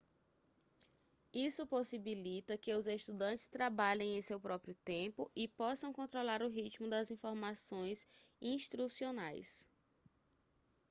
isso possibilita que os estudantes trabalhem em seu próprio tempo e possam controlar o ritmo das informações instrucionais